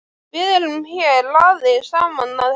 Við erum hér aðeins saman að heyra.